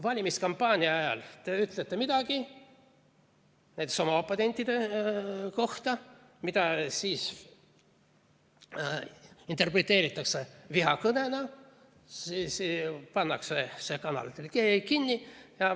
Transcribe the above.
Valimiskampaania ajal te ütlete midagi näiteks oma oponentide kohta, seda interpreteeritakse aga vihakõnena ja kanal pannakse kinni.